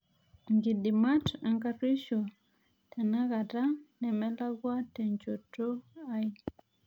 inkidimat enkaruoisho tenakata nemelakua tenchoto ai